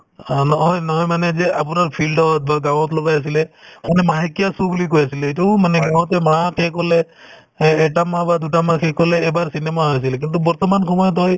অ, নহয় নহয় মানে এই যে আপোনাৰ field ত বা গাঁৱত লগাই আছিলে মানে মাহেকীয়া show বুলি কৈ আছিলে এইটোও মানে এ~ এটা মাহ বা দুটা মাহ শেষ হ'লে এবাৰ cinema হৈ আছিল কিন্তু বৰ্তমান সময়ত হয়